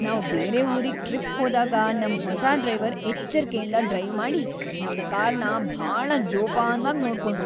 ನಾವ್‌ ಬೇರೆ ಊರಿಗ್‌ ಟ್ರಿಪ್‌ ಹೋದಾಗ ನಮ್‌ ಹೊಸ ಡ್ರೈವರ್‌ ಎಚ್ಚರ್ಕೆಯಿಂದ ಡ್ರೈವ್ ಮಾಡಿ ನಮ್ ಕಾರ್‌ನ ಭಾಳ ಜೋಪಾನ್ವಾಗ್‌ ನೋಡ್ಕೊಂಡ್ರು.